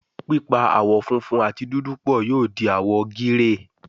pipa àwo fúnfún àti dúdú pọ yóò di àwo gíréè